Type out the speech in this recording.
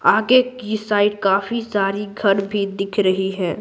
आगे की साइड काफी सारी घर भी दिख रही है।